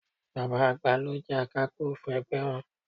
Bàbá àgbà ló jẹ Akápò ẹgbẹ́ wọn